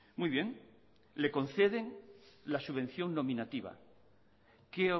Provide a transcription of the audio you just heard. muy bien le conceden la subvención nominativa qué